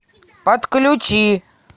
подключи